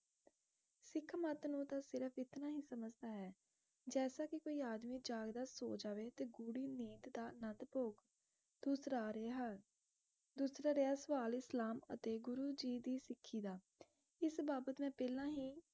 ਇਤਨਾ ਹੀ ਸਮਝਦਾ ਹੈ ਜੈਸਾ ਕੇ ਕੋਈ ਆਦਮੀ ਜਾਗਦਾ ਸੋ ਜਾਵੇ ਤੇ ਗੂੜੀ ਨੀਂਦ ਦਾ ਆਨੰਦ ਭੋਗ ਦੂਸਰਾ ਰਿਹਾ ਦੂਸਰਾ ਰਿਹਾ ਸਵਾਲ ਇਸਲਾਮ ਅਤੇ ਗੁਰੂ ਜੀ ਦੀ ਸਿੱਖੀ ਦਾ ਇਸ ਬਾਬਤ ਮੈਂ ਪਹਿਲਾ ਹੀ